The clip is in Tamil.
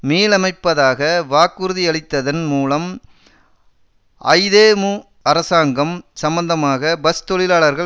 மீளமைப்பதாக வாக்குறுதியளித்ததன் மூலம் ஐதேமு அரசாங்கம் சம்பந்தமாக பஸ் தொழிலாளர்கள்